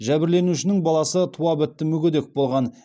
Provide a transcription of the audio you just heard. жәбірленушінің баласы туа бітті мүгедек болған